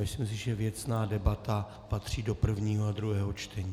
Myslím si, že věcná debata patří do prvního a druhého čtení.